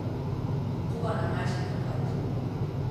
Koga ne meče takrat?